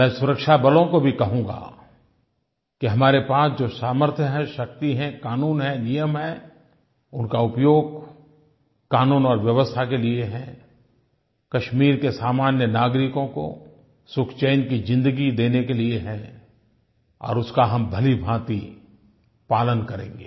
मैं सुरक्षा बलों को भी कहूँगा कि हमारे पास जो सामर्थ्य है शक्ति है क़ानून हैं नियम हैं उनका उपयोग क़ानून और व्यवस्था के लिये है कश्मीर के सामान्य नागरिकों को सुखचैन की ज़िन्दगी देने के लिये है और उसका हम भलीभाँति पालन करेंगे